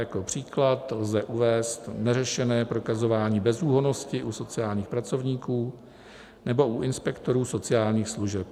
Jako příklad lze uvést neřešené prokazování bezúhonnosti u sociálních pracovníků nebo u inspektorů sociálních služeb.